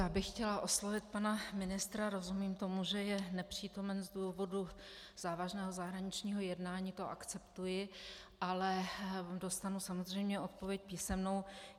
Já bych chtěla oslovit pana ministra, rozumím tomu, že je nepřítomen z důvodu závažného zahraničního jednání, to akceptuji, ale dostanu samozřejmě odpověď písemnou.